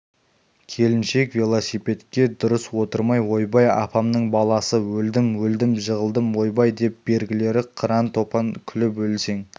келіншек велосипедке дұрыс отырмай ойбай апамның баласы өлдім өлдім жығылдым ойбай деп бергілері қыран-топан күліп өлсең